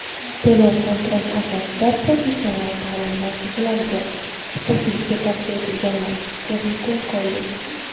to‘lov-kontrakt asosida professional ta’lim muassasalariga o‘quvchilikka tavsiya etilganlar (texnikum, kollej);.